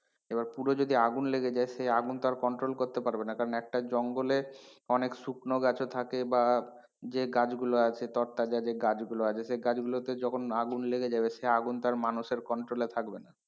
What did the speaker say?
এবার পুরো যদি আগুন লেগে যায় সে আগুন তো আর control করতে পারবে না কারণ একটা জঙ্গলে অনেক শুকনো গাছও থাকে বা যে গাছগুলো আছে তর তাজা যে গাছগুলো আছে সে গাছগুলোতে যখন আগুন লেগে যাবে সে আগুন তো আর মানুষের control এ থাকবে না।